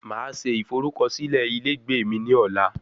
Máa se ìforúkọsílẹ ilé ìgbé mí ní ọ̀la